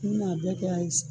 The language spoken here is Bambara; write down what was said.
U na a bɛɛ kɛ